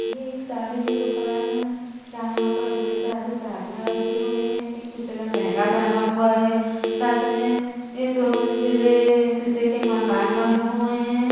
ये एक साड़ी की दुकान है। जहाँ पर ढेर सारी साड़ियाँ रखी हुई हैं। एक पुतला लहंगा पहना हुआ है। साथ मे ये दो मंज़िलें शीशे के मकान बने हुए हैं।